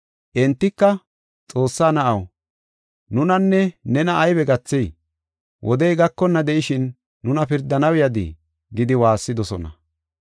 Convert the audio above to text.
Entika, “Xoossaa Na7aw, nunanne nena aybe gathey? Wodey gakonna de7ishin nuna pirdanaw yadii?” gidi waassidosona.